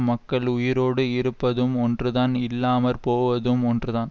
மக்கள் உயிரோடு இருப்பதும் ஒன்றுதான் இல்லாம போவதும் ஒன்றுதான்